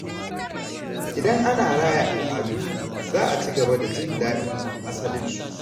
Idan ana raya al’adu, za a ci gaba da jin daɗin asalinsu.